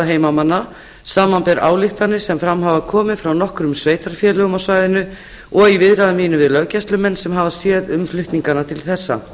heimamanna samanber ályktanir sem fram hafa komið frá nokkrum sveitarfélögum á svæðinu og í viðræðum mínum við löggæslumenn sem hafa séð um flutningana til þessa